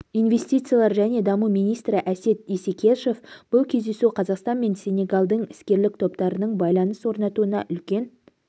инвестициялар және даму министрі әсет исекешев бұл кездесу қазақстан мен сенегалдың іскерлік топтарының байланыс орнатуына үлкен